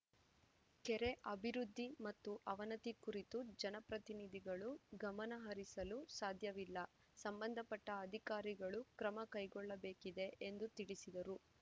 ಕೆರೆ ಅಭಿವೃದ್ಧಿ ಮತ್ತು ಅವನತಿ ಕುರಿತು ಜನಪ್ರತಿನಿಧಿಗಳು ಗಮನ ಹರಿಸಲು ಸಾಧ್ಯವಿಲ್ಲ ಸಂಬಂಧಪಟ್ಟಅಧಿಕಾರಿಗಳು ಕ್ರಮ ಕೈಗೊಳ್ಳಬೇಕಿದೆ ಎಂದು ತಿಳಿಸಿದರು